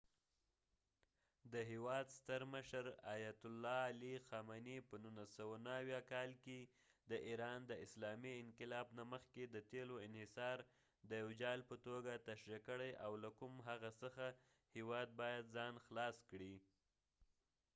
د هیواد ستر مشر، آیت الله علي خامنی په ۱۹۷۹ کال کې د ایران د اسلامي انقلاب نه مخکې د تیلو انحصار د یو جال په توګه تشریح کړی او له کوم هغه څخه هیواد باید ځان خلاص کړي